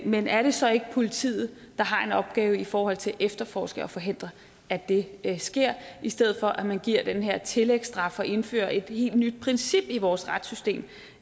men er det så ikke politiet der har en opgave i forhold til at efterforske og forhindre at det sker i stedet for at man giver den her tillægsstraf og indfører et helt nyt princip i vores retssystem